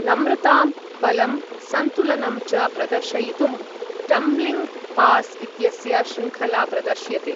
नम्रताम्, बलम्, संतुलनं च प्रदर्शयितुं टम्बलिङ्ग् पास् इत्यस्य शृङ्खला प्रदर्श्यते।